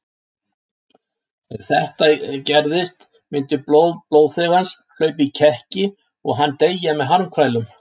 Ef þetta gerðist myndi blóð blóðþegans hlaupa í kekki og hann deyja með harmkvælum.